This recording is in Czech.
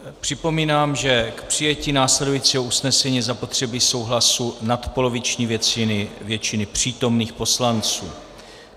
Připomínám, že k přijetí následujícího usnesení je zapotřebí souhlasu nadpoloviční většiny přítomných poslanců.